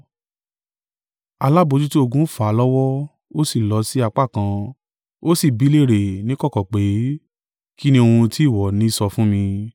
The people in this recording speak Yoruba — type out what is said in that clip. Alábojútó-ogun fà á lọ́wọ́, ó sì lọ si apá kan, ó sì bi í léèrè níkọ̀kọ̀ pé, “Kín ni ohun tí ìwọ ní sọ fún mi?”